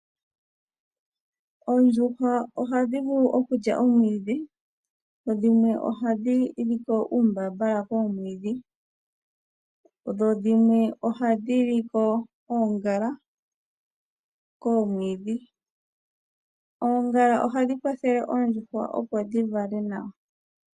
Oondjuhwa ohadhi vulu okulya omwidhi dho dhimwe ohadhi liko uumbambala koomwidhi, dho dhimwe ohadhi li ko oongala koomwidhi. Oongala ohadhi kwathele oondjuhwa dhivale nawa.